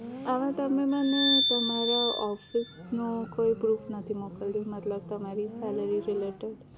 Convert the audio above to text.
આમાં તમે મને તમારા office નો કોઈ proof નથી મોકલ્યું મતલબ તમારી salary related